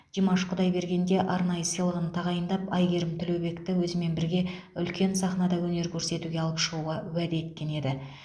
димаш құдайберген де арнайы сыйлығын тағайындап әйгерім тілеубекті өзімен бірге үлкен сахнада өнер көрсетуге алып шығуға уәде еткен еді